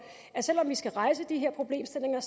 at selv om vi skal rejse de problemstillinger